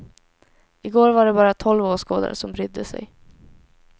I går var det bara tolv åskådare som brydde sig.